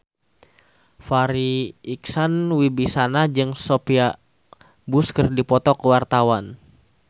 Farri Icksan Wibisana jeung Sophia Bush keur dipoto ku wartawan